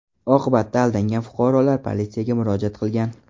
Oqibatda aldangan fuqarolar politsiyaga murojaat qilgan.